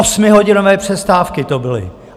Osmihodinové přestávky to byly.